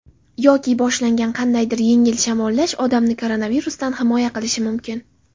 Yoki boshlangan qandaydir yengil shamollash odamni koronavirusdan himoya qilishi mumkin.